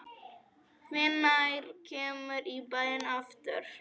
Hvenær kemurðu í bæinn aftur?